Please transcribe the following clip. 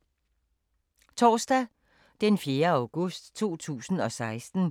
Torsdag d. 4. august 2016